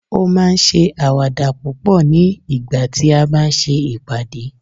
o ma n se awada púpò ni ìgbà tí a bá n se ìpàdé